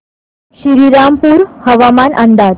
श्रीरामपूर हवामान अंदाज